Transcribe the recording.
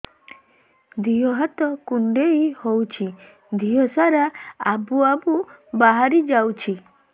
ଦିହ ହାତ କୁଣ୍ଡେଇ ହଉଛି ଦିହ ସାରା ଆବୁ ଆବୁ ବାହାରି ଯାଉଛି